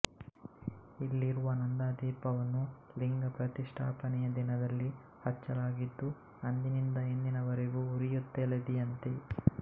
ಇಲ್ಲಿರುವ ನಂದಾದೀಪವನ್ನು ಲಿಂಗ ಪ್ರತಿಷ್ಠಾಪನೆಯ ದಿನದಲ್ಲಿ ಹಚ್ಚಲಾಗಿದ್ದು ಅಂದಿನಿಂದ ಇಂದಿನವರೆಗೂ ಉರಿಯುತ್ತಲಿದೆಯಂತೆ